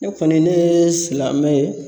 Ne kɔni ne ye silamɛ ye